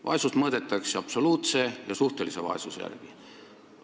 Vaesust mõõdetakse absoluutse ja suhtelise vaesuse järgi.